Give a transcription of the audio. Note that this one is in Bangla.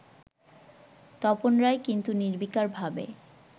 তপন রায় কিন্তু নির্বিকারভাবে